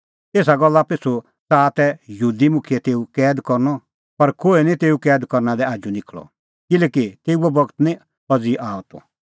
एसा गल्ला पिछ़ू च़ाहा तै यहूदी मुखियै तेऊ कैद करनअ पर कोहै निं तेऊ कैद करना लै आजू निखल़अ किल्हैकि तेऊओ बगत निं अज़ी आअ त